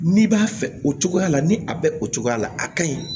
N'i b'a fɛ o cogoya la ni a bɛ o cogoya la a ka ɲi